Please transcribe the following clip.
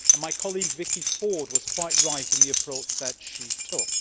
My colleague, Vicky Ford, was quite right in the approach that she took.